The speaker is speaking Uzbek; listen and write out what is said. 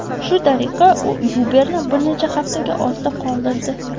Shu tariqa, u Uber’ni bir necha haftaga ortda qoldirdi.